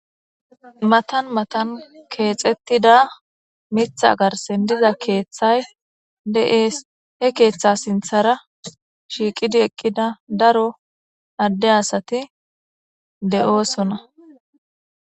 matan matan keexettida mitha garsen diza keeththay de'ees he keeththa sinthara shiiqidi eqqida daro adde asati de'oosona